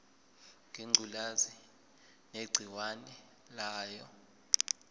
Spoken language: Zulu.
ngengculazi negciwane layo